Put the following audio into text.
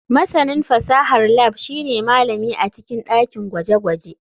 Masanin fasahar lab shine malami a cikin dakin gwaje-gwaje.